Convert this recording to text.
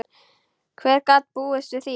Hver gat búist við því?